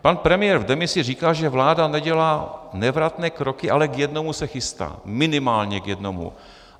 Pan premiér v demisi říká, že vláda nedělá nevratné kroky, ale k jednomu se chystá, minimálně k jednomu.